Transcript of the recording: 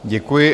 Děkuji.